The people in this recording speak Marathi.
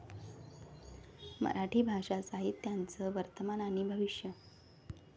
मराठी भाषा साहित्याचं वर्तमान आणि भविष्य